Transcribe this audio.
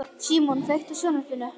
Símon, kveiktu á sjónvarpinu.